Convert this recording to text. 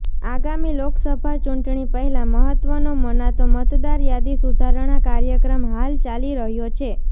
આગામી લોકસભા ચૂંટણી પહેલા મહત્વનો મનાતો મતદાર યાદી સુધારણા કાર્યક્રમ હાલ ચાલી રહ્યો છે